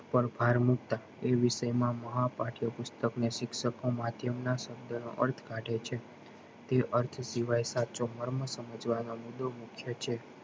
પર ભાર મુક્ત એ વિષય માં મહા પાઠ્ય પુસ્તક ને શિક્ષકો માધ્યમ ના સબળ નો અર્થ કાઢે છે તે અર્થ સિવાય સાચો મર્મ સમજવા નો મુદ્દો મુકે છે